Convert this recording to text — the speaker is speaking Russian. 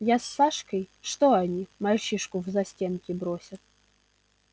я с сашкой что они мальчишку в застенки бросят